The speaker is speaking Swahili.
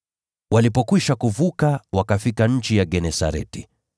Walipokwisha kuvuka, wakafika nchi ya Genesareti.